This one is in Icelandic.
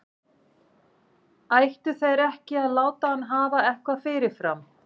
Ættu þeir ekki að láta hann hafa eitthvað fyrirfram?